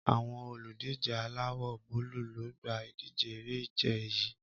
Àwọn olùdíje aláwò :búlù lo gba idije eré ìje yii